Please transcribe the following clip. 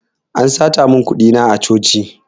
An sata mun kuɗi na a coci